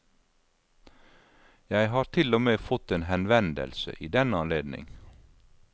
Jeg har til og med fått en henvendelse i den anledning.